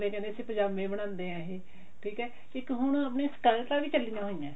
ਅਗਲੇ ਕਹਿੰਦੇ ਵੀ ਪਜਾਮੇ ਬਣਾਉਂਦੇ ਆ ਇਹ ਠੀਕ ਆ ਇੱਕ ਹੁਣ ਆਪਣੇ ਸਕਰਟਾਂ ਵੀ ਚੱਲੀਆਂ ਹੋਈਆਂ